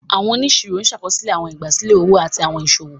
Àwọn oniṣiro ṣàkóso àwọn ìgbàsílẹ̀ òwò àti àwọn iṣowo.